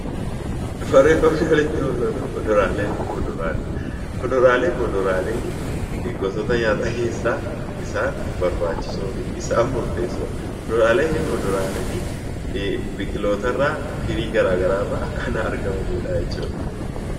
Barreeffamni oliitti mul'atu kuduraalee fi muduraaleedha. Kuduraalee fi muduraaleen gosoota nyaataa keessaa isaan barbaachisoo fi isaan murteessoodha. Kuduraalee fi muduraaleen biqilootaarraa firii garaa garaa irraa kan argamanidha jechuudha.